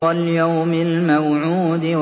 وَالْيَوْمِ الْمَوْعُودِ